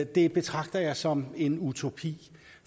det betragter jeg som en utopi